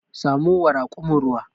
Samo wa rakumin ruwa.